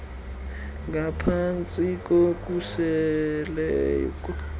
ngaphan tsi kokhuseleko